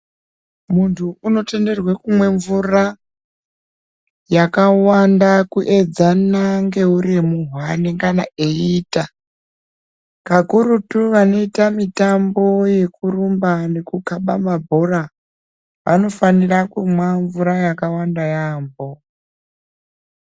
Muntu unotenderwa kumwe mvura yakawanda kuedzana ngeuremu hwanengana eiita kakurutu vanoita mitambo yekurumba nekukhaba mabhora vanofanira kumwa mvura yakawanda yaamho.